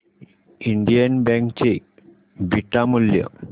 Indian bank चे beta मूल्य